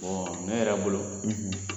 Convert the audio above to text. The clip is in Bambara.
ne yɛrɛ bolo